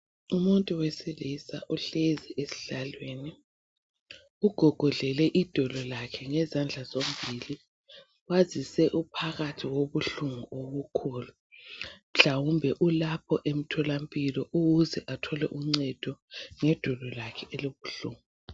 Umuntu wesilisa uhlezi esihlalweni, ugogodlele idolo lakhe ngezandla zombili. Kwazise uphakathi kobuhlungu obukhulu. Mhlawumbe ulapho emtholampilo ukuze athole uncedo ngedolo lakhe elibuhlungu.